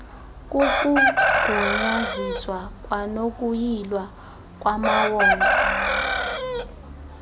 kukugunyaziswa kwanokuyilwa kwamawonga